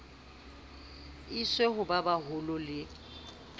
iswe ho ba baholo le